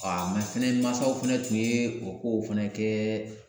fɛnɛ mansaw fɛnɛ tun ye o kow fɛnɛ kɛ